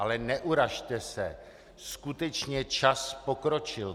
Ale neurazte se, skutečně čas pokročil.